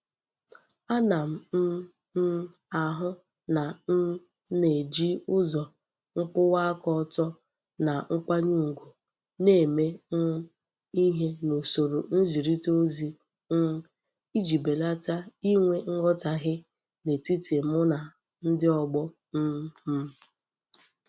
Ana m m ahu na m na-eji uzo nkwuwa aka oto na nkwanye ugwu na-eme um ihe n'usoro nzirita ozi um iji belata inwe nghotahie n'etiti mu na ndi ogbo um m.